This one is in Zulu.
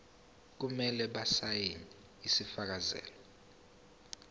kumele basayine isifakazelo